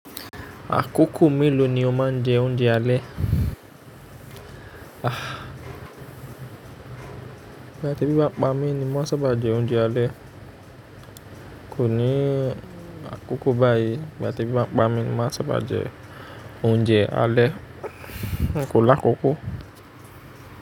Àkókò mélòó ni o máa ń jẹ oúnjẹ alẹ́? Ìgbà ti ebi bá pámi ni máa sábà jẹ oúnjẹ alẹ́. Kò ní àkókò báyìí ígba ti ebi bá pámi ni máa sábà jẹ oúnjẹ alẹ́. N kò lákòókò.